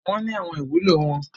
Wọ́n ní àwọn ìwúlò wọn.